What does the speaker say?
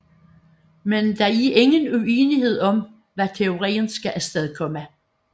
Men der er ingen uenighed om hvad teorien skal astedkomme